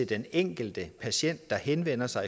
den enkelte patient der henvender sig